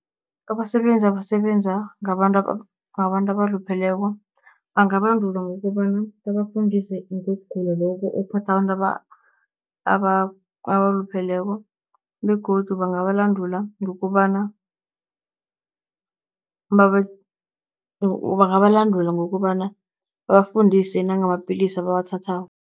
Abasebenzi abasebenza ngabantu ngabantu abalupheleko bangabandulwa ngokobana, babafundise ngokugula lokho okuphatha abantu abalupheleko. Begodu bangabalandula ngokobana bangabalandula ngokobana, babafundise nangamapilisi abawathathako.